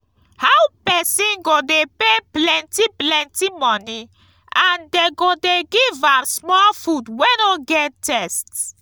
how person go dey pay plenty plenty money and dey go dey give am small food wey no get thirst